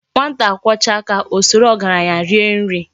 "Nwata kwọchaa aka, o soro ọgaranya rie nri.